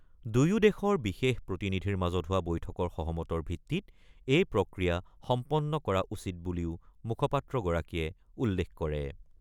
দুয়ো দেশৰ বিশেষ প্ৰতিনিধিৰ মাজত হোৱা বৈঠকৰ সহমতৰ ভিত্তিত এই প্ৰক্ৰিয়া সম্পন্ন কৰা উচিত বুলিও মুখপাত্ৰগৰাকীয়ে উল্লেখ কৰে।